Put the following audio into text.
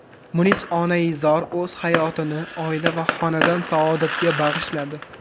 Munis onaizor o‘z hayotini oila va xonadon saodatiga bag‘ishladi.